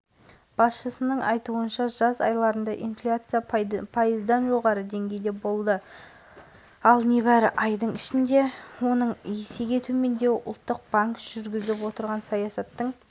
ұлттық банкінің төрағасы данияр ақышев жылдың қорытындысында жылдық инфляция пайыздық деңгейде қалыптасқанын жария етті ол бұл